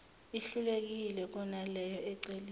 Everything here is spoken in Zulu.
ihlukile kunaleyo eceliwe